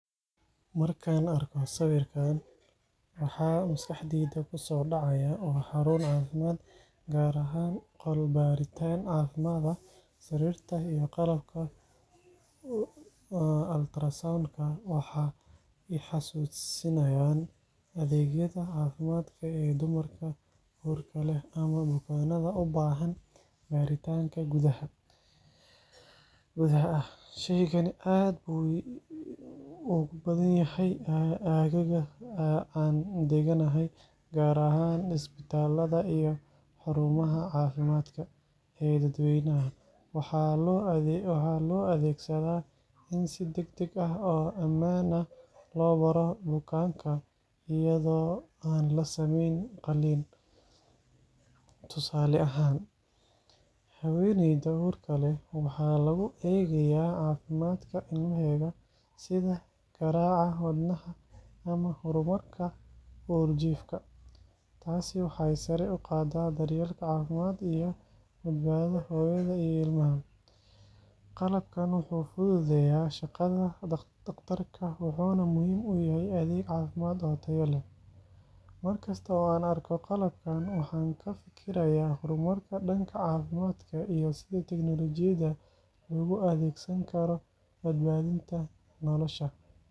Markaan arko sawirkan, waxa maskaxdayda ku soo dhacaya waa xarun caafimaad, gaar ahaan qol baaritaan caafimaad ah. Sariirta iyo qalabka ultrasound-ka waxay i xasuusinayaan adeegyada caafimaadka ee dumarka uurka leh ama bukaanada u baahan baaritaan gudaha ah. Shaygani aad buu ugu badan yahay aagga aan degganahay, gaar ahaan isbitaallada iyo xarumaha caafimaadka ee dadweynaha. Waxaa loo adeegsadaa in si degdeg ah oo ammaan ah loo baaro bukaanka iyadoo aan la sameyn qalliin. Tusaale ahaan, haweeneyda uurka leh waxaa lagu eegaa caafimaadka ilmaheeda, sida garaaca wadnaha ama horumarka uurjiifka. Taasi waxay sare u qaaddaa daryeelka caafimaad iyo badbaadada hooyada iyo ilmaha. Qalabkan wuxuu fududeeyaa shaqada dhaqtarka, wuxuuna muhiim u yahay adeeg caafimaad oo tayo leh. Markasta oo aan arko qalabkan, waxaan ka fikirayaa horumarka dhanka caafimaadka iyo sida teknoolojiyadda loogu adeegsan karo badbaadinta nolosha.